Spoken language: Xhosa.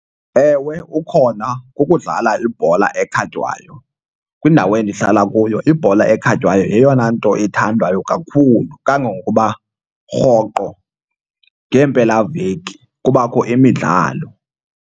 Ewe ukhona, kukudlala ibhola ekhatywayo. Kwindawo endihlala kuyo ibhola ekhatywayo yeyona nto ithandwayo kakhulu kangangokuba rhoqo ngeempelaveki kubakho imidlalo.